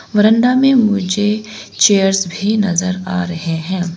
बरांडा में मुझे चेयर्स भी नज़र आ रहे हैं।